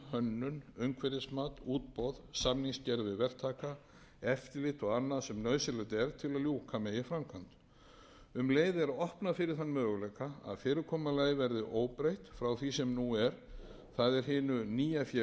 hönnun umhverfismat útboð samningsgerð við verktaka eftirlit og annað sem nauðsynlegt er til að ljúka megi framkvæmd um leið er opnað fyrir þann möguleika að fyrirkomulagið verði óbreytt frá því sem nú er það er hinu nýja félagi er